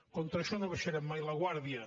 contra això no abaixarem mai la guàrdia